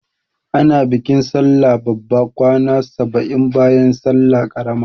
Ana bikin sallah babba kwana saba'in bayan salla ƙarama.